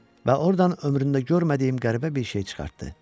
Və ordan ömründə görmədiyim qəribə bir şey çıxartdı.